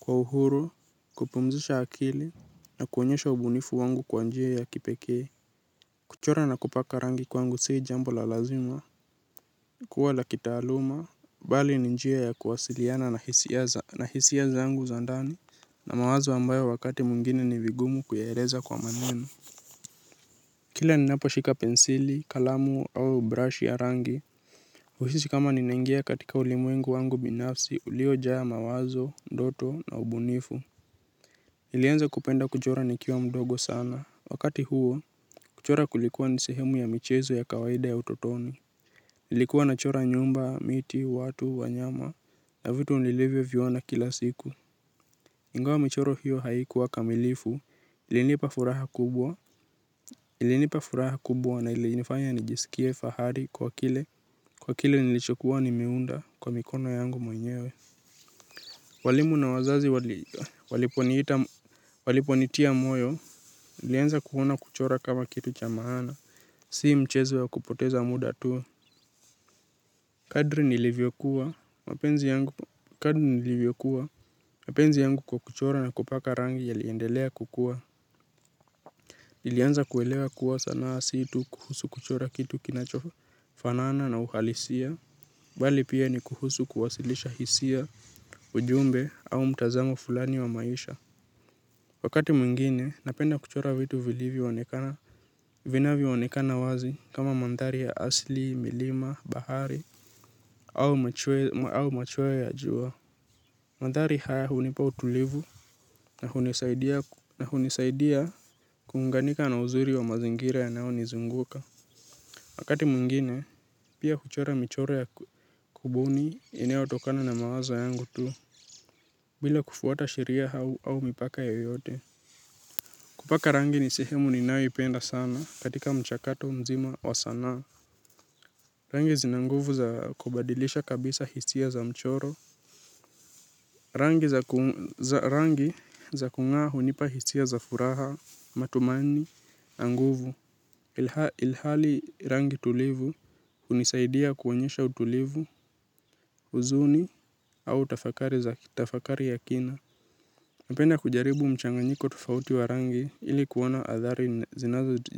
kwa uhuru kupumzisha akili na kuonyesha ubunifu wangu kwa njia ya kipekee kuchora na kupaka rangi kwangu sii jambo la lazima kuwa la kitaaluma bali ni njia ya kuwasiliana na hisia za na hisia zangu za ndani na mawazo ambayo wakati mwingine ni vigumu kuyaeleza kwa maneno kila ninapo shika pensili kalamu au brush ya rangi huhisi kama ninaingia katika ulimwengu wangu binafsi ulio jaa mawazo, ndoto na ubunifu. Nilianza kupenda kuchora nikiwa mdogo sana, wakati huo, kuchora kulikuwa ni sehemu ya michezo ya kawaida ya utotoni. Nilikuwa nachora nyumba, miti, watu, wanyama, na vitu nilivyo viona kila siku ingawa michoro hiyo haikuwa kamilifu, ilinipa furaha kubwa. Ilinipa furaha kubwa na ilinifanya nijisikie fahari kwa kile kwa kile nilichokuwa nimeunda kwa mikono yangu mwenyewe. Walimu na wazazi waliponitia moyo nilianza kuona kuchora kama kitu cha maana. Sii mchezo wa kupoteza muda tu. Kadri nilivyokuwa mapenzi yangu kwa kuchora na kupaka rangi yaliendelea kukua nilianza kuelewa kuwa sanaa si tu kuhusu kuchora kitu kinachofanaana na uhalisia. Bali pia ni kuhusu kuwasilisha hisia ujumbe au mtazamo fulani wa maisha. Wakati mwingine napenda kuchora vitu vilivyoonekana. Vinavyoonekana wazi kama mandhari ya asili, milima, bahari au machweo ya jua. Mandhari haya hunipa utulivu na hunisaidia kuunganika na uzuri wa mazingira yanayo nizunguka. Wakati mwingine pia kuchora michoro ya kubuni inayotokana na mawazo yangu tu bila kufuata sheria au au mipaka yoyote. Kupaka rangi ni sehemu ninayoipenda sana katika mchakato mzima wa sanaa. Rangi zina nguvu za kubadilisha kabisa hisia za mchoro. Rangi za kung'aa hunipa hisia za furaha, matumani, na nguvu. Ilhali rangi tulivu hunisaidia kuonyesha utulivu, huzuni au tafakari za tafakari ya kina. Napenda kujaribu mchanganyiko tofauti wa rangi ili kuona athari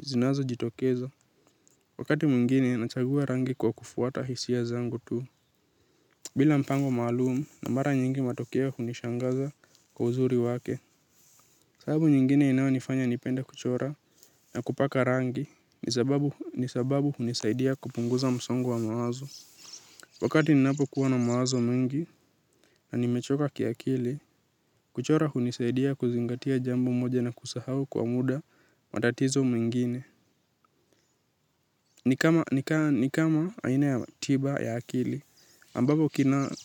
zinazo jitokeza. Wakati mwingine, nachagua rangi kwa kufuata hisia zangu tu. Bila mpango malumu, na mara nyingi matokeo hunishangaza kwa uzuri wake. Sababu nyingine inayonifanya nipende kuchora na kupaka rangi, ni sababu hunisaidia kupunguza msongo wa mawazo. Wakati ninapo kuwa na mawazo mengi na nimechoka kiakili, kuchora hunisaidia kuzingatia jambo moja na kusahau kwa muda matatizo mwingine. Ni kama aina ya tiba ya akili,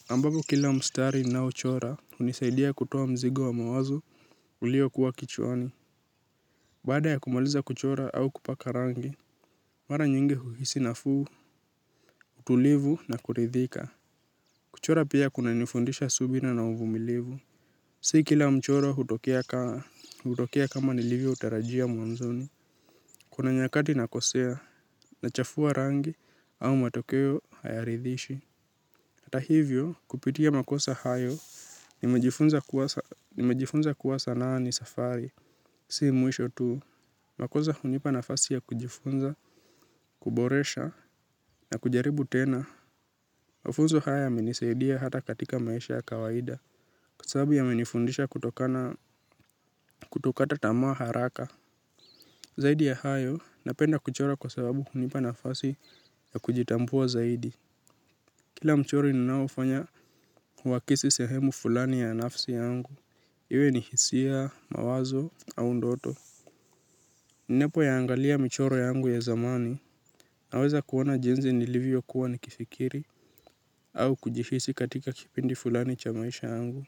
ambavyo kila mstari ninaochora hunisaidia kutoa mzigo wa mawazo ulio kuwa kichwani. Baada ya kumaliza kuchora au kupaka rangi, mara nyingi huhisi nafuu, utulivu na kuridhika. Kuchora pia kunanifundisha subira na uvumilivu. Si kila mchoro hutokea kama nilivyoutarajia mwanzoni. Kuna nyakati nakosea, nachafua rangi au matokeo hayaridhishi. Hata hivyo, kupitia makosa hayo nimejifunza kuwa sanaa ni safari. Si mwisho tuu, makosa hunipa nafasi ya kujifunza, kuboresha na kujaribu tena. Mafunzo haya yamenisaidia hata katika maisha ya kawaida. Kws sababu yamenifundisha kutokana kutokata tamaa haraka. Zaidi ya hayo, napenda kuchora kwa sababu hunipa nafasi ya kujitambua zaidi. Kila mchoro ninaofanya huakisi sehemu fulani ya nafsi yangu. Iwe ni hisia, mawazo, au ndoto. Ninapo yaangalia michoro yangu ya zamani. Naweza kuona jinsi nilivyokuwa nikifikiri, au kujihisi katika kipindi fulani cha maisha yangu.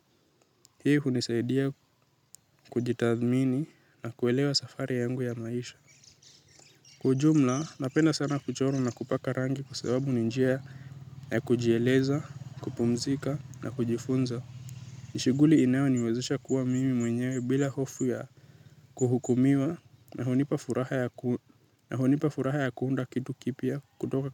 Hii hunisaidia kujitathmini na kuelewa safari yangu ya maisha. Kwa ujumla, napenda sana kuchora na kupaka rangi kwa sababu ni njia ya kujieleza, kupumzika na kujifunza. Ni shughuli inayoniwezisha kuwa mimi mwenyewe bila hofu ya kuhukumiwa na hunipa furaha ya kuunda kitu kipya kutoka.